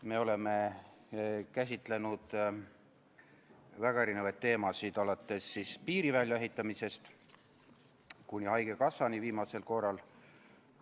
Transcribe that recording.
Me oleme käsitlenud väga erinevaid teemasid, alates piiri väljaehitamisest kuni haigekassani viimasel korral.